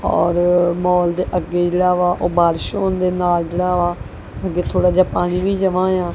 ਔਰ ਮੌਲ ਦੇ ਅੱਗੇ ਜਿਹੜਾ ਵਾ ਓਹ ਬਾਰਿਸ਼ ਹੋਣ ਦੇ ਨਾਲ ਜਿਹੜਾ ਵਾ ਅੱਗੇ ਥੋੜਾ ਜਿਹਾ ਪਾਣੀ ਵੀ ਜਮਾਂ ਹੋਇਆ।